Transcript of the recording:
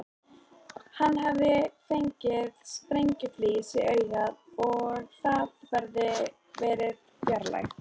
Hann hafði fengið sprengjuflís í augað og það verið fjarlægt.